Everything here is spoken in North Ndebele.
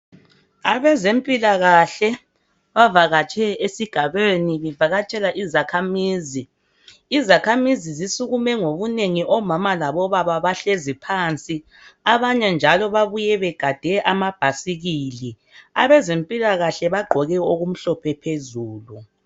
Abezempilakahle bavakatshe esigabeni bevakatshela izakhamizi .Izakhamizi zisukume ngobunengi, omama labobaba bahlezi phansi. Abanye njalo babuye begade amabhasikili. Abezempilakahle bagqoke okumhlophe phezulu.